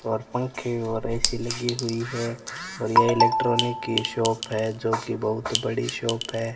और पंखे और ए_सी लगी हुई है और ये इलेक्ट्रॉनिक की शॉप है जो की बहुत बड़ी शॉप है।